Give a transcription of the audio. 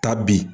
Taa bi